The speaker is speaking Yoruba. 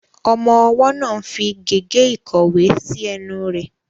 Ọmọ ọwọ́ náà ń fi gègé ìkọ̀wé sí ẹnu rẹ̀.